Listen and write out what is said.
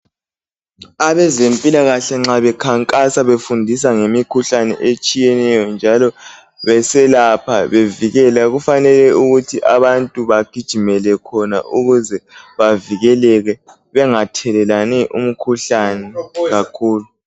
Abezempilakahle nxa bekhankasa befundisa ngemikhuhlane etshiyeneyo njalo beselapha bevikela kufanele ukuthi abantu bengathelelani umkhuhlane kakhulu.